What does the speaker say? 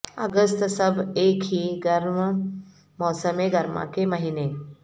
اگست سب ایک ہی گرم موسم گرما کے مہینے